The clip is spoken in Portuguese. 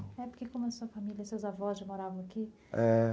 É, porque como a sua família, seus avós já moravam aqui, é.